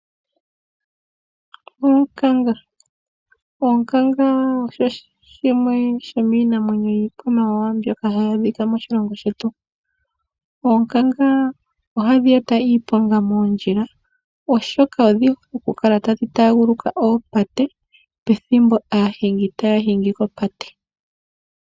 Onkanga osho shimwe shomiinamwenyo yiikwamawawa mbyoka hayi adhika moshilongo shetu. Oonkanga ohadhi eta iiponga moondjila oshoka odhi hole oku kala tadhi taaguluka oopate pethimbo aahingi taya hingi kopate.